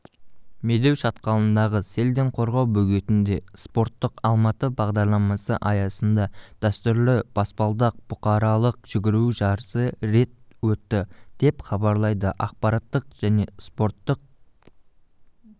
медеу шатқалындағы селден қорғау бөгетінде спорттық алматы бағдарламасы аясында дәстүрлі баспалдақ бұқаралық жүгіру жарысы рет өтті деп хабарлайды ақпараттық және спорттық